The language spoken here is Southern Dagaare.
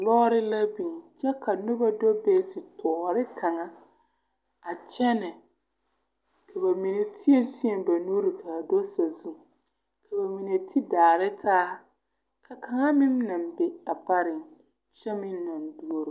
Lɔɔre la biŋ kyɛ ka noba do be zetɔɔre kaŋa a kyɛnɛ ka ba mine tēɛtēɛ ba nuuri ka a do sazu ka ba mine te daare taa ka kaŋa meŋ naŋ be a pareŋ kyɛ meŋ naŋ duoro.